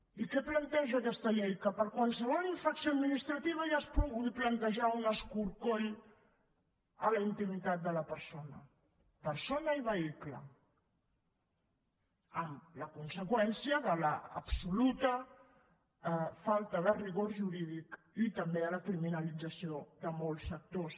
i què planteja aquesta llei que per a qualsevol infracció administrativa ja es pugui plantejar un escorcoll a la intimitat de la persona persona i vehicle amb la conseqüència de l’absoluta falta de rigor jurídic i també la criminalització de molts sectors